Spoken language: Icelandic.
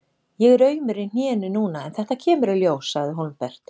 Ég er aumur í hnénu núna en þetta kemur í ljós, sagði Hólmbert.